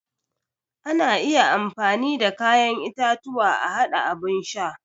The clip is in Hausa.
Ana iya amfani da kayan itatuwa a haɗa abun sha.